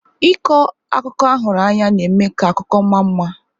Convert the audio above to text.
Ịkọ akụkọ ahụrụ anya na-eme ka akụkọ ma mma.